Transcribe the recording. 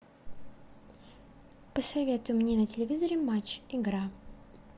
посоветуй мне на телевизоре матч игра